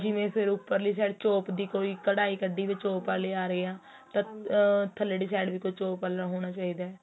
ਜਿਵੇਂ ਫ਼ਿਰ ਉੱਪਰਲੀ side ਚੋਪ ਦੀ ਕੋਈ ਕਢਾਈ ਕੱਢੀ ਚੋਪ ਵਾਲੇ ਆ ਰਹੇ ਏਹ ਤਾ ਥੱਲੜੀ side ਵੀ ਕੋਈ ਚੋਪ ਵਾਲਾ ਹੋਣਾ ਚਾਹੀਦਾ